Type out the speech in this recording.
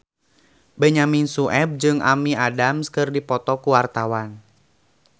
Benyamin Sueb jeung Amy Adams keur dipoto ku wartawan